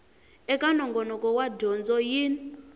eka nongonoko wa dyondzo yin